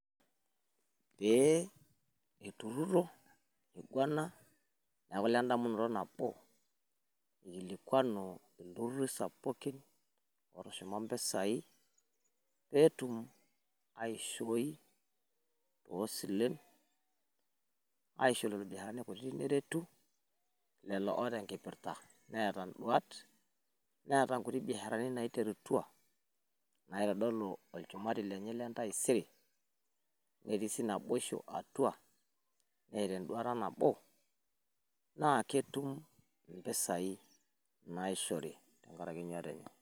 Pee itururo niguana neeku lendamunoto nabo ikilikuanu iltururi sapukin otushuma mpisai peetum aishoii tosilen aishoo lelo biasharani kutiti neretu lelo oota enkipirta netii naboisho atua, netaa nduat naketuum mpisai naishori